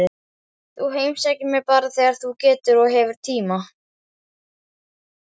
Þú heimsækir mig bara þegar þú getur og hefur tíma.